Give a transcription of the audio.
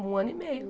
Um ano e meio.